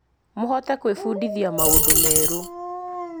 Mũhote kwĩbundithia maũndũ merũ